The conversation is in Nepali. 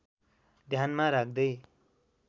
ध्यानमा राख्दै